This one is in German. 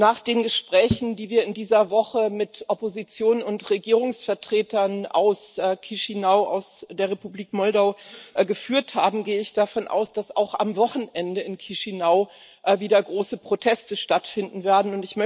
Nach den Gesprächen, die wir in dieser Woche mit Opposition und Regierungsvertretern aus Chişinău, aus der Republik Moldau geführt haben, gehe ich davon aus, dass auch am Wochenende in Chişinău wieder große Proteste stattfinden werden.